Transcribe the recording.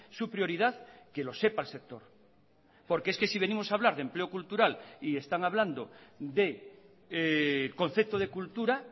su prioridad que lo sepa el sector porque es que si venimos a hablar de empleo cultural y están hablando de concepto de cultura